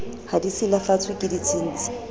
ha di silafatswe ke ditshintshi